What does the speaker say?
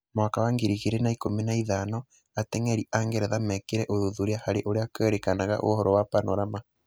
Mwaka wa ngiri igĩrĩ na ikũmi naithano, Ateng'eri a Ngeretha mekĩre ũthuthuria harĩ ũrĩa kũerĩkanaga ũhoro wa Panorama.